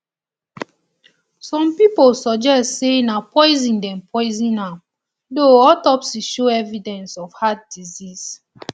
some pipo suggest say na poison dem poison am though autopsy show evidence of heart disease